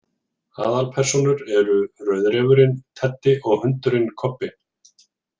Aðalpersónur eru rauðrefurinn Teddi og hundurinn Kobbi.